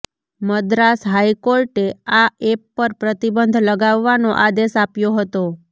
મદ્રાસ હાઈકોર્ટે આ એપ પર પ્રતિબંધ લગાવવાનો આદેશ આપ્યો હતો